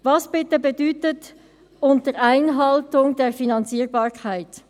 Was bitte bedeutet «unter Einhaltung der Finanzierbarkeit»?